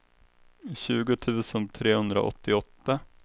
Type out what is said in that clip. tjugo tusen trehundraåttioåtta